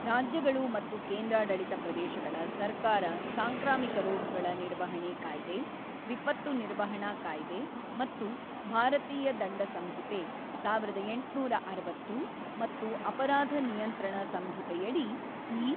ರಾಜ್ಯಗಳು ಮತ್ತು ಕೇಂದ್ರಾಡಳಿತ ಪ್ರದೇಶಗಳ ಸರ್ಕಾರ ಸಾಂಕ್ರಾಮಿಕ ರೋಗಗಳ ನಿರ್ವಹಣೆ ಕಾಯ್ದೆ, ವಿಪತ್ತು ನಿರ್ವಹಣಾ ಕಾಯ್ದೆ ಮತ್ತು ಭಾರತೀಯ ದಂಡ ಸಂಹಿತೆ-ಸಾವಿರದ ಎಂಟುನೂರ ಅರವತ್ತು ಮತ್ತು ಅಪರಾಧ ನಿಯಂತ್ರಣ ಸಂಹಿತೆಯಡಿ ಈ